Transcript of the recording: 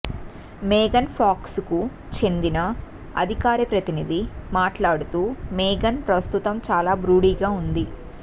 మేఘన్ ఫాక్స్కు చెందిన అధికార ప్రతినిధి మాట్లాడుతూ మేఘన్ ప్రస్తుతం చాలా బ్రూడీగా ఉంది